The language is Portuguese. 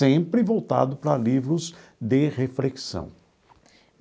Sempre voltado para livros de reflexão.